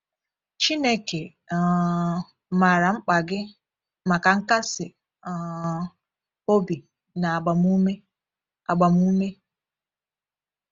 Chineke um maara mkpa gị maka nkasi um obi na agbamume. agbamume.